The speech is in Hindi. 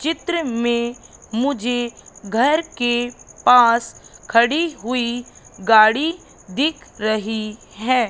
चित्र में मुझे घर के पास खड़ी हुई गाड़ी दिख रही है।